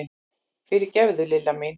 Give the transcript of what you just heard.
Fyrirgefðu, Lilla mín!